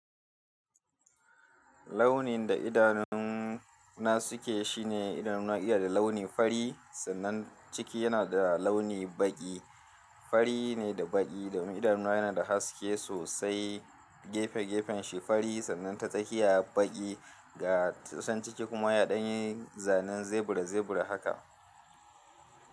Launin da idanuna suke shine idanuwa iya da launi fari sannan ciki yana da launi baƙi. Fari ne da baƙi domin. Idanuwa yana da haske sosai, gefe-gefen shi fari sannan ta tsakiya baƙi ga tsasan ciki kuma ya ɗan yi zanen zebura-zebura haka.